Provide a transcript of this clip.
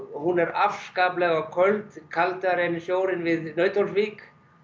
hún er afskaplega köld kaldari en sjórinn við Nauthólsvík